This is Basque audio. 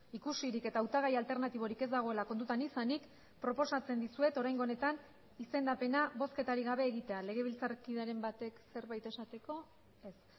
ikusirik eta hautagai alternatiborik ez dagoela kontutan izanik proposatzen dizuet oraingo honetan izendapena bozketarik gabe egitea legebiltzarkideren batek zerbait esateko ez